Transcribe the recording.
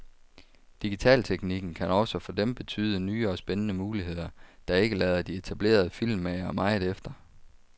Digitalteknikken kan også for dem betyde nye og spændende muligheder, der ikke lader de etablerede filmmagere meget efter.